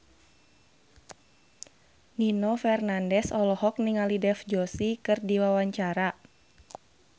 Nino Fernandez olohok ningali Dev Joshi keur diwawancara